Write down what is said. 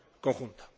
conjunta